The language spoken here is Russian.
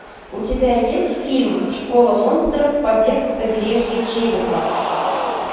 у тебя есть фильм школа монстров побег с побережья черепа